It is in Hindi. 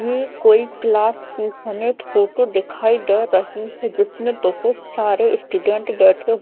ही कोई क्लास के सेलेक्ट फोटो दिखाई दे रही है जिसमे बहुत सारे स्टूडेंट बैठे--